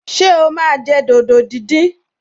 Ṣé o máa jẹ dòdò díndín?